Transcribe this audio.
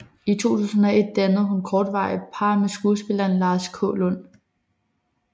I 2001 dannede hun kortvarigt par med skuespilleren Lars Kaalund